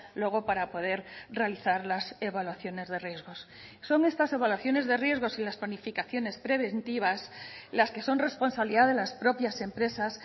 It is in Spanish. luego para poder realizar las evaluaciones de riesgos son estas evaluaciones de riesgos y las planificaciones preventivas las que son responsabilidad de las propias empresas